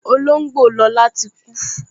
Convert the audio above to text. Olóngbò Lọla tí kú